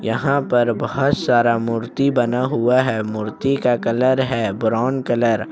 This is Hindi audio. यहां पर बहुत सारा मूर्ति बना हुआ है मूर्ति का कलर है ब्राउन कलर ।